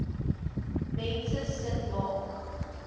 mense sin maak